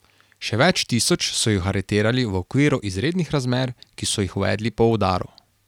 Še več tisoč so jih aretirali v okviru izrednih razmer, ki so jih uvedli po udaru.